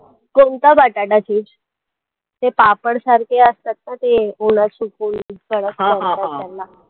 कोणता बटाटा chips ते पापड सारखे असतात ना ते ओला सुकवून कडक करतात त्याला